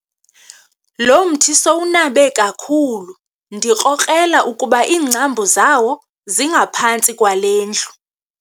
Lo mthi sowunabe kakhulu ndikrokrela ukuba iingcambu zawo zingaphantsi kwale ndlu.